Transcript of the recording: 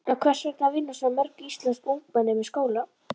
En hvers vegna vinna svona mörg íslensk ungmenni með skóla?